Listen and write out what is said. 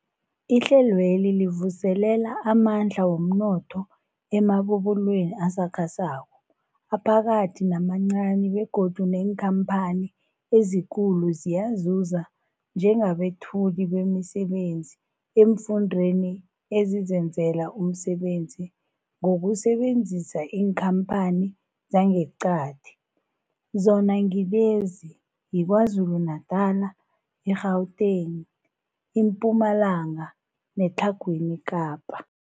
Ihlelweli livuselela amandla womnotho emabubulweni asakhasako, aphakathi namancani begodu neenkhamphani ezikulu ziyazuza njengabethuli bemisebenzi eemfundeni ezizenzela umsebenzi ngokusebenzisa iinkhamphani zangeqadi, zona ngilezi, yiKwaZulu-Natala, i-Gauteng, iMpumalanga neTlhagwini Kapa.